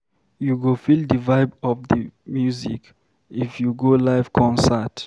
You go feel di vibe of di music if you go live concert.